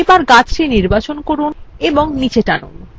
এবার গাছটি নির্বাচন করুন এবং নীচে নিয়ে আসুন